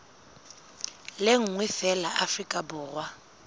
le nngwe feela afrika borwa